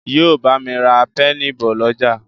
yíò bámi rà Pẹ́ẹ̀nì bó l'ọja